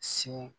Sin